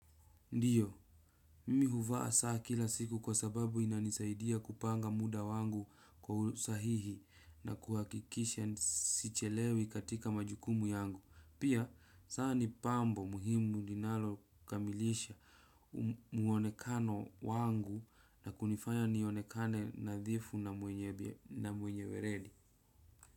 Ndiyo, mimi huvaa saa kila siku kwa sababu inanisaidia kupanga muda wangu kwa usahihi na kuhakikisha sichelewi katika majukumu yangu. Pia, saa ni pambo muhimu linalo kamilisha mwonekano wangu na kunifanya nionekane nadhifu na mwenye weredi.